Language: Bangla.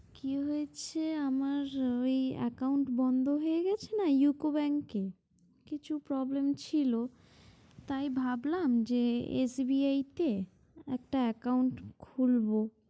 কি হয়েছে আমার ঐ account বন্ধ হয়ে গেছে না UCO Bank এ কিছু problem ছিল তাই ভাবলাম যে SBI তে একটা account খুলবো।